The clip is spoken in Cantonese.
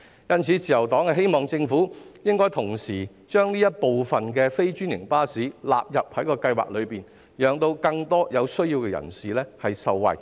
因此，自由黨希望政府同時將這類非專營巴士納入計劃，讓更多有需要人士受惠。